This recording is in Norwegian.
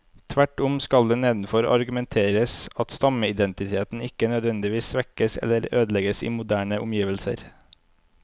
Tvert om skal det nedenfor argumenteres at stammeidentiteten ikke nødvendigvis svekkes eller ødelegges i moderne omgivelser.